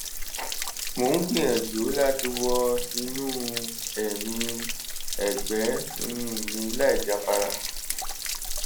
mo ń gbìyànjú láti wọ inú ẹ̀yìn ọ̀gbẹ́ um mi láìjáfara